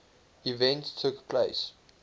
events took place